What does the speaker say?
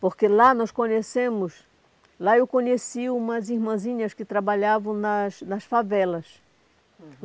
Porque lá nós conhecemos... Lá eu conheci umas irmãzinhas que trabalhavam nas nas favelas. Hum.